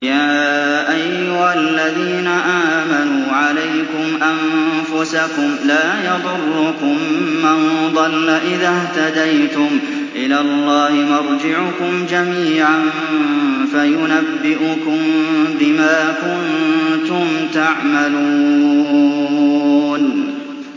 يَا أَيُّهَا الَّذِينَ آمَنُوا عَلَيْكُمْ أَنفُسَكُمْ ۖ لَا يَضُرُّكُم مَّن ضَلَّ إِذَا اهْتَدَيْتُمْ ۚ إِلَى اللَّهِ مَرْجِعُكُمْ جَمِيعًا فَيُنَبِّئُكُم بِمَا كُنتُمْ تَعْمَلُونَ